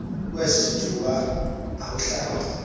kweso sithuba awuhlaba